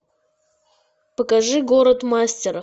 покажи город мастеров